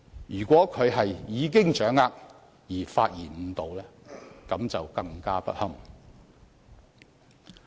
如果他是已掌握議案的性質而發言誤導，便更加不堪。